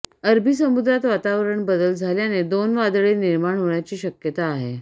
अरबी समुद्रात वातावरणात बदल झाल्याने दोन वादळे निर्माण होण्याची शक्यता आहे